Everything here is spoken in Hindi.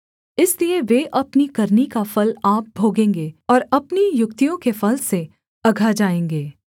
इसलिए वे अपनी करनी का फल आप भोगेंगे और अपनी युक्तियों के फल से अघा जाएँगे